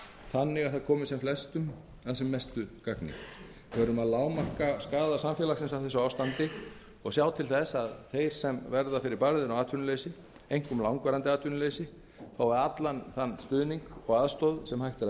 þannig að það komi sem flestum að sem mestu gagni við verðum að lágmarka skaða samfélagsins af þessu ástandi og sjá til þess að þeir sem verða fyrir barðinu á atvinnuleysi einkum langvarandi atvinnuleysi fái allan þann stuðning og aðstoð sem hægt er að